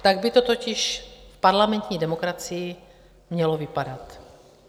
Tak by to totiž v parlamentní demokracii mělo vypadat.